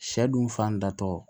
Sɛ dun fan datɔ